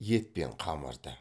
ет пен қамырды